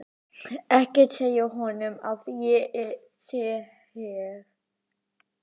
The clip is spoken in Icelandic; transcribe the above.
Ekki segja honum að ég sé hér.